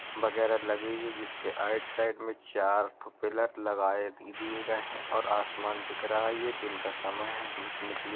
बगैरा लगी हुई हैं जिसके आइट साइड में चार ठो पिलर लगाए दी दिए गए हैं और आसमान दिख रहा है। ये दिन का समय है। धूप निकली --